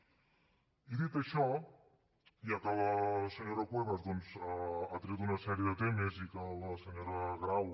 i dit això ja que la senyora cuevas doncs ha tret una sèrie de temes i que la senyora grau